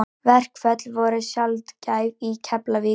Verkföll voru sjaldgæf í Keflavík.